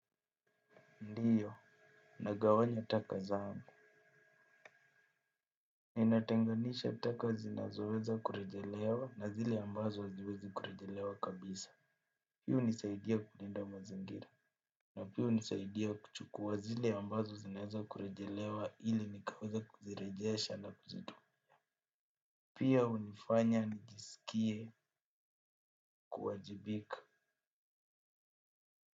Ndiyo, nagawanya taka zaangu. Ninatenganisha taka zinazo weza kurejelewa na zile ambazo aziwezi kurejelewa kabisa. Hi unisaidia kulinda mazingira. Na pia unisaidia kuchukua zili ambazo zinaweza kurejelewa hili nikaweza kuzirejesha na kuzidua. Pia unifanya nijisikie kuwajibika.